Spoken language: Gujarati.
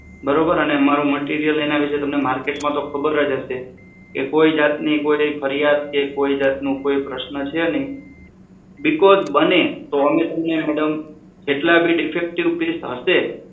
બરોબર અને મારુ material એના વિશે market માં તો ખબર જ હશે કોઈ જાતની કોઈ ફરિયાદ કે કોઈ જાતનું કોઈ પ્રશ્ન છે નહીં. because બને તો અમે તમને madam જેટલા ભી defective piece હશે